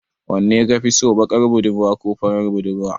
Wanne kafi so, baƙar budurwa ko farar budurwa?